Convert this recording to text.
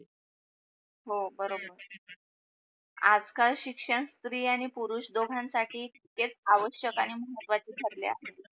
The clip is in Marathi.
हो बरोबर, आज काल शिक्षण स्त्री आणि पुरुष दोघांसाठी तेच आवश्यक आणि महत्वच ठरल्या